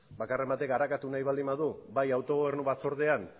bakarren batek arakatu nahi baldin badu bai autogobernu batzordean